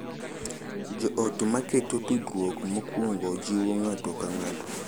Jo ot ma keto tudruok mokuongo jiwo ng’ato ka ng’ato